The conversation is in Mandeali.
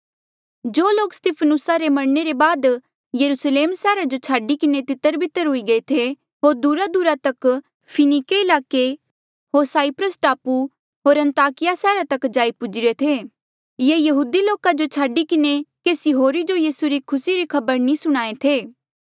जो लोक स्तिफनुसा रे मरणे रे बाद यरुस्लेम सैहरा जो छाडी किन्हें तितरबितर हुई गये थे होर दूरादूरा तक फिनिके ईलाके होर साईप्रस टापू होर अन्ताकिया सैहरा तक जाई पूजीरे थे ये यहूदी लोका जो छाडी किन्हें केसी होरी जो यीसू री खुसी री खबर नी सुणाहें थे